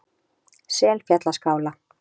Selfjallaskála